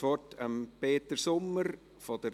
Vorneweg herzlichen